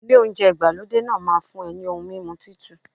Ilé oúnjẹ ìgbàlódé náà máa fún ẹ ní ohun mímu Títù.